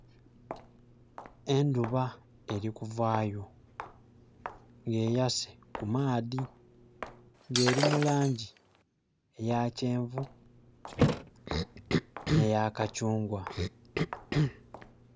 Enduba eri kuvaayo nga eyase ku maadhi, nga eri mu langi eya kyenvu, nhe ya kachungwa.